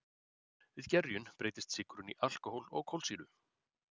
Við gerjun breytist sykurinn í alkóhól og kolsýru.